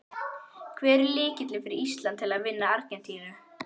Hver er lykillinn fyrir Ísland til að vinna Argentínu?